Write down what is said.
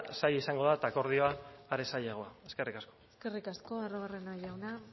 zaila izango da eta akordioa are zailagoa eskerrik asko eskerrik asko arruabarrena jauna